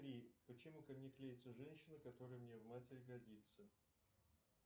почему ко мне клеится женщина которая мне в матери годится